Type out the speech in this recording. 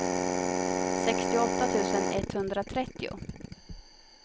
sextioåtta tusen etthundratrettio